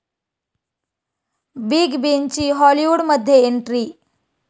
big बींची हॉलिवूडमध्ये entry